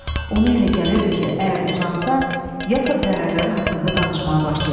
Ona elə gəlirdi ki, əgər uzansa, Yakov zərərləri haqqında danışmağa başlayacaq.